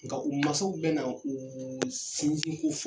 Nga u masaw be na u sinsin ko fo